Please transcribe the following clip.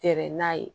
Tɛrɛ n'a ye